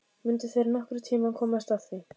Mundu þeir nokkurn tíma komast að því?